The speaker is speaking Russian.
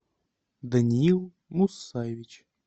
даниил мусаевич